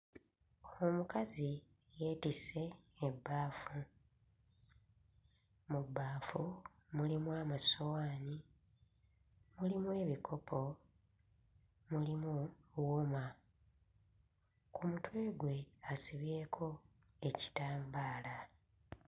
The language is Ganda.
Omukazi yeetisse ebbaafu. Mu bbaafu mulimu amasowaani, mulimu ebikopo, mulimu wuma. Ku mutwe gwe asibyeko ekitambaala.